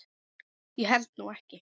Ég held nú ekki.